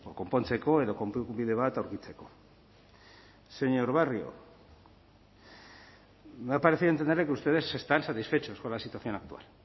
konpontzeko edo konponbide bat aurkitzeko señor barrio me ha parecido entenderle que ustedes están satisfechos con la situación actual